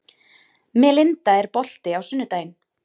Melinda, er bolti á sunnudaginn?